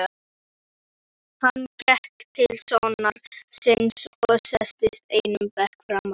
Hann gekk til sonar síns og settist einum bekk framar.